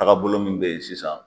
Taagabolo min bɛ yen sisan.